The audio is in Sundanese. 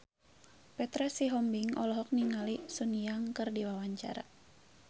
Petra Sihombing olohok ningali Sun Yang keur diwawancara